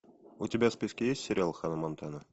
у тебя в списке есть сериал ханна монтана